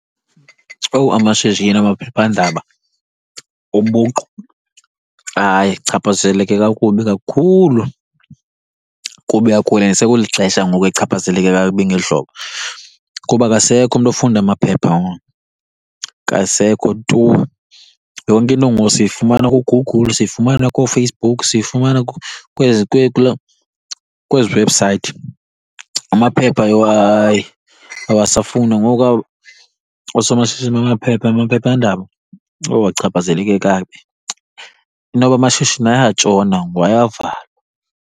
Owu amashishini amaphephandaba ubuqu, hayi achaphazeleke kakubi kakhulu. Kubi , sekulixesha ngoku echaphazeleka kakubi ngeli hlobo, kuba akasekho umntu ofunda amaphepha ngoku, akasekho tu. Yonke into ngoku siyifumana kuGoogle, siyifumana kooFacebook, siyifumana kwezi, kulaa, kwezi webhusayithi. Amaphepha yho hayi awasafundwa. Ngoku oosomashishini bamaphepha amaphephandaba, owu achaphazeleke kakubi. Inoba amashishini ayatshona ngoku, ayavalwa.